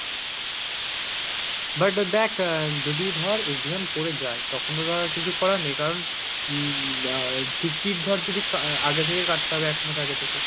but দেখ যদি ধর exam পরে যায় তখন তো ধর আর কিছু করার নেই কারন হম আহ ticket ধর যদি কা~ আগে থেকে কাটতে হবে একমাস আগে থেকে